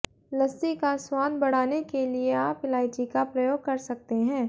लस्सी का स्वाद बढ़ाने के लिए आप इलायची का प्रयोग कर सकते हैं